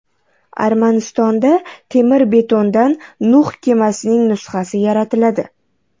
Armanistonda temir-betondan Nuh kemasining nusxasi yaratiladi.